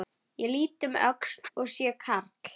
Ég lít um öxl og sé karl